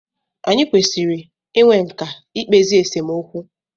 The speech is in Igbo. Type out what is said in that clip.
Anyị kwesịrị i nwe nkà i kpezi esemokwu.